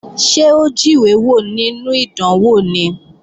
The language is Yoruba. Ṣé ó jíwé wò nínú ìdánwò ni?